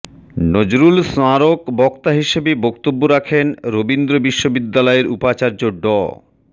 নজরুল স্মারক বক্তা হিসেবে বক্তব্য রাখেন রবীন্দ্র বিশ্ববিদ্যালয়ের উপাচার্য ড